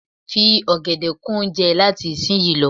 Fi ọ̀gẹ̀dè kún oúnjẹ ẹ láti ìsin yìí lọ.